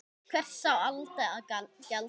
Hvers á Alda að gjalda?